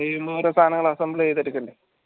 ഇങ്ങനെയൊരു സാനങ്ങളാ assembly യ്‌തെടുക്കേണ്ടി